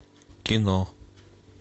кино